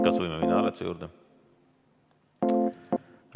Kas võime minna hääletuse juurde?